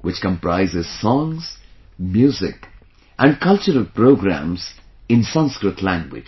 which comprises songs, music and cultural programs in Sanskrit language